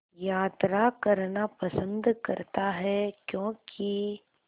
यात्रा करना पसंद करता है क्यों कि